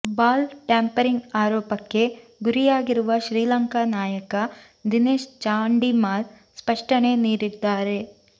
ball tampering ಆರೋಪಕ್ಕೆ ಗುರಿಯಾಗಿರುವ ಶ್ರೀಲಂಕಾ ನಾಯಕ ದಿನೇಶ್ ಚಾಂಡಿಮಾಲ್ ಸ್ಪಷ್ಟಣೆ ನೀಡಿದ್ದಾರೆ